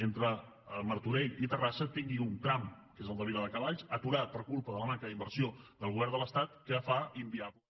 entre martorell i terrassa tingui un tram que és el de viladecavalls aturat per culpa de la manca d’inversió del govern de l’estat que fa inviable